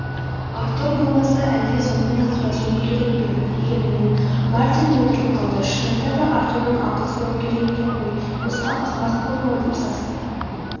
артур болмаса әлде сонымен ақылдасуым керек пе егер мен.мартин мүдіріп қалды шынында да артурдан ақыл сұрауым керек екен ғой босқа ақымақ болдым-ау деп састы